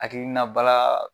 Hakilinaba laa